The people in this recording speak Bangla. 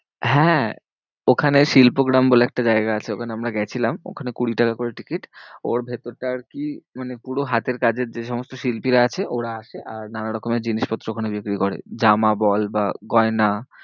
হ্যাঁ, ওখানে শিল্পগ্রাম বলে একটা জায়গা আছে, ওখানে আমরা গেছিলাম, ওখানে কুড়ি টাকা করে টিকিট। ওর ভেতরটা আরকি মানে পুরো হাতের কাজের যে সমস্ত শিল্পীরা আছে, ওরা আসে আর নানা রকমের জিনিসপত্র ওখানে বিক্রি করে জামা বল বা গয়না।